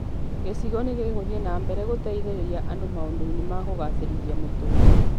Gĩcigo nĩ gĩgũthiĩ na mbere gũteithĩrĩria andũ maũndũ-inĩ ma kũgacĩrithia mũtũrire